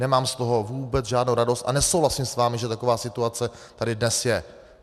Nemám z toho vůbec žádnou radost a nesouhlasím s vámi, že taková situace tady dnes je.